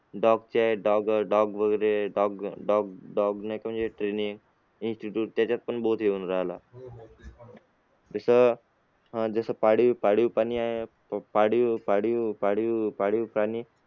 dog dog dog dog dog training institute जसं पाळीव पाळीव पाळीव पाळीव पाळीव प्राणी आहे.